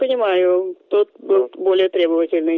понимаю тот кто более требовательный